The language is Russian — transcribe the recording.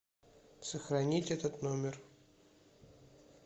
сохранить этот номер